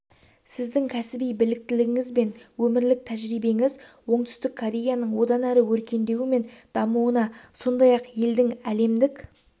сіздің кәсіби біліктілігіңіз бен өмірлік тәжірибеңіз оңтүстік кореяның одан әрі өркендеуі мен дамуына сондай-ақ елдің әлемдік